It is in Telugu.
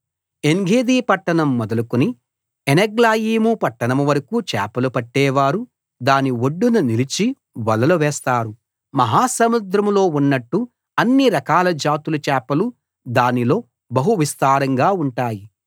ఏన్గెదీ పట్టణం మొదలుకుని ఏనెగ్లాయీము పట్టణం వరకూ చేపలు పట్టేవారు దాని ఒడ్డున నిలిచి వలలు వేస్తారు మహా సముద్రంలో ఉన్నట్టు అన్ని రకాల జాతుల చేపలు దానిలో బహు విస్తారంగా ఉంటాయి